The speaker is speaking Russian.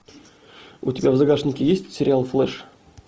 у тебя в загашнике есть сериал флэш